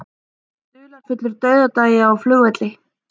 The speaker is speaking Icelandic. Dularfullur dauðdagi á flugvelli